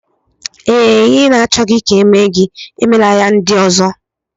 Ee, Ihe ị na-achọghị ka e mee gị emela ya ndị ọzọ.